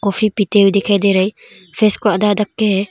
Coffee पीते हुए दिखाई दे रा है फेस को आधा ढक के है।